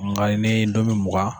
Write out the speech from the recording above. Nga n'i ye nomi mugan.